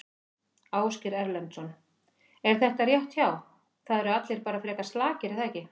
Ásgeir Erlendsson: Er þetta rétt hjá, það eru allir bara frekar slakir er það ekki?